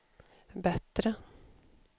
bättre